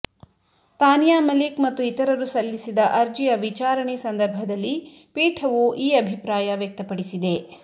ತಾನಿಯಾ ಮಲಿಕ್ ಮತ್ತು ಇತರರು ಸಲ್ಲಿಸಿದ ಅರ್ಜಿಯ ವಿಚಾರಣೆ ಸಂದರ್ಭದಲ್ಲಿ ಪೀಠವು ಈ ಅಭಿಪ್ರಾಯ ವ್ಯಕ್ತಪಡಿಸಿದೆ